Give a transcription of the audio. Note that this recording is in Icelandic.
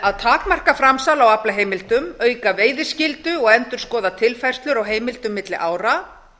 að takmarka framsal á aflaheimildum auka veiðiskyldu og endurskoða tilfærslur á heimildum milli ára